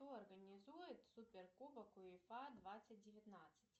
кто организует супер кубок уефа двадцать девятнадцать